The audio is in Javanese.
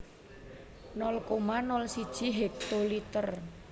nol koma nol siji hektoliter